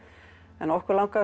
en okkur langaði